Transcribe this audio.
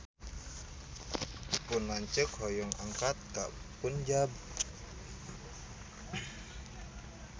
Pun lanceuk hoyong angkat ka Punjab